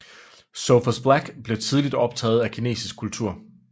Sophus Black blev tidligt optaget af kinesisk kultur